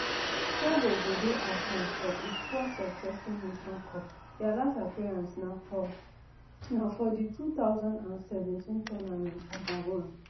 togo go dey absent for a fourth successive nations cup dia last appearance na for na for di two thousand and seventeen tournament for gabon